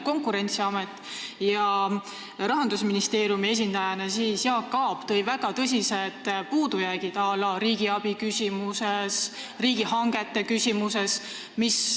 Konkurentsiamet ja Jaak Aab Rahandusministeeriumi esindajana tõid välja väga tõsised puudujäägid näiteks riigiabi ja riigihangete küsimuses.